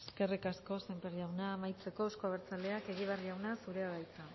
eskerrik asko sémper jauna amaitzeko euzko abertzaleak egibar jauna zurea da hitza